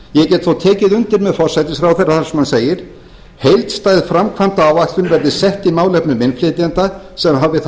ég get þó tekið undir með forsætisráðherra þar sem hann segir heildstæð framkvæmdaáætlun verði sett í málefnum innflytjenda sem hafi það